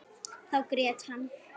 Þá grét hann.